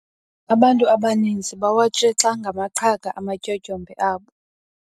Abantu abaninzi bawatshixa ngamaqhaga amatyotyombe abo.